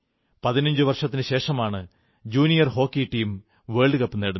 പതിനഞ്ചു വർഷത്തിനുശേഷമാണ് junior hockey team world cup നേടുന്നത്